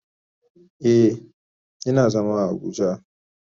Eh, ina zama a abuja.